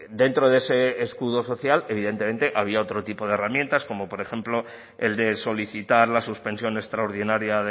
dentro de ese escudo social evidentemente había otro tipo de herramientas como por ejemplo el de solicitar la suspensión extraordinaria